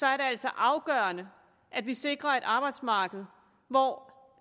er det altså afgørende at vi sikrer et arbejdsmarked hvor